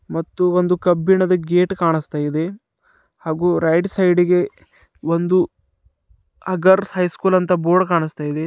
ಮತ್ತು ಒಂದು ಕಬ್ಬಿಣದ ಗೇಟ್ ಕಾಣಿಸ್ತಿದೆ ಹಾಗೂ ರೈಟ್ ಸೈಡಿಗೆ ಒಂದು ಅಗರ್ ಹೈಸ್ಕೂಲ್ ಅಂತ ಬೋರ್ಡ್ ಕಾಣಿಸ್ತಾ ಇದೆ.